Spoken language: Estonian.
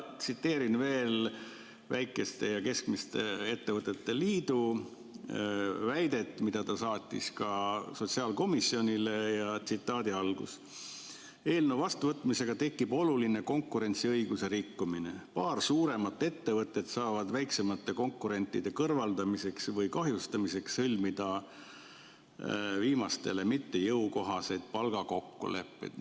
Tsiteerin veel väikeste ja keskmiste ettevõtete liidu väidet, mis saadeti sotsiaalkomisjonile: "Eelnõu vastuvõtmisega tekib oluline konkurentsiõiguse rikkumine – paljudes valdkondades paar suuremat ettevõtet saavad väiksemate konkurentide kõrvaldamiseks või kahjustamiseks sõlmida viimastele mittejõukohaseid palgakokkuleppeid.